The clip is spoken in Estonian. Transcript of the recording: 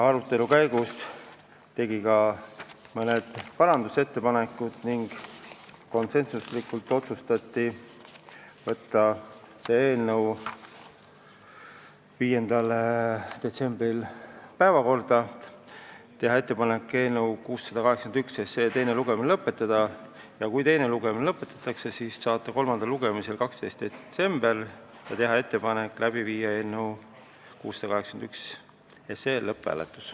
Arutelu käigus tegime ka mõned parandusettepanekud ning konsensusega otsustati võtta see eelnõu 5. detsembri istungi päevakorda, teha ettepanek eelnõu 681 teine lugemine lõpetada ja kui teine lugemine lõpetatakse, siis saata eelnõu kolmandale lugemisele 12. detsembriks ja teha ettepanek läbi viia lõpphääletus.